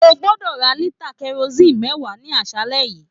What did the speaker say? O gbọdọ rà lita kerosinni mẹwa ní aṣálẹ yìí!